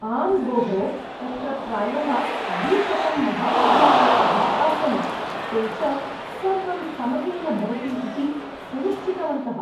आम् भोः, तत्र प्रायः द्विशतं महाविद्यालयाः आसन्, ते च सर्वं समयेन भवति इति सुनिश्चितवन्तः।